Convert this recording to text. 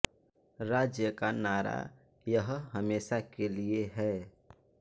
राज्य का नारा यह हमेशा के लिए है